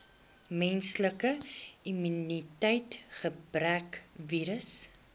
menslike immuniteitsgebrekvirus